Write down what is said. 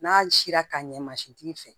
N'a sera ka ɲɛ masin tigi fɛ